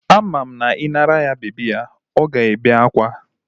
Ama m na I nara ya bebi ya, Ọ gaghị ébé akwa.